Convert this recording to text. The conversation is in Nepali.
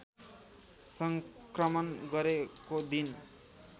सङ्क्रमण गरेको दिन